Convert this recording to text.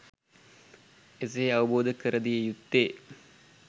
එසේ අවබෝධ කර දිය යුත්තේ